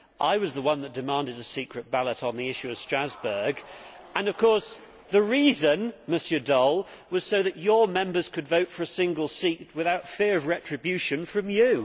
I was the one that demanded a secret ballot on the issue of Strasbourg and, of course, the reason, Mr Daul, was so that your Members could vote for a single seat without fear of retribution from you.